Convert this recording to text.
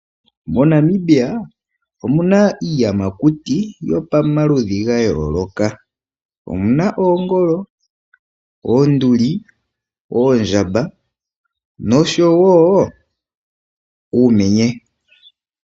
Mo Namibia omuna iiyamakuti yopamaludhi ga yooloka omuna oongolo, oonduli, oondjamba noshowo uumenye.